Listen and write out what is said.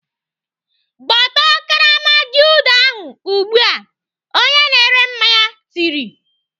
Gbọtọọ karama Gulder ahụ ugbu a!" Onye na-ere mmanya tiri